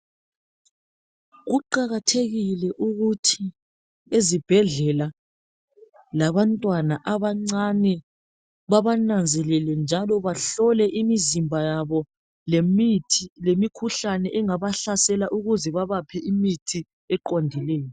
Kuqakathekile ukuthi ezibhedlela labantwana abancane babananzelele njalo bahlole imizimba yabo lemithi lemikhuhlane engabahlasela ukuze babaphe imithi eqondileyo.